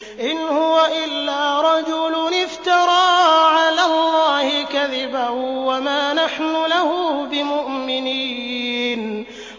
إِنْ هُوَ إِلَّا رَجُلٌ افْتَرَىٰ عَلَى اللَّهِ كَذِبًا وَمَا نَحْنُ لَهُ بِمُؤْمِنِينَ